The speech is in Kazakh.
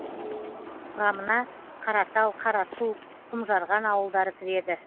құрамына қаратал қарасу құмжарған ауылдары кіреді